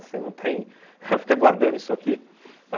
Você não tem... fica guardando isso aqui?